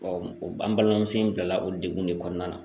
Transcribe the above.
an balimamuso in bila la o degun de kɔnɔna na